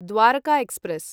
Dwarka express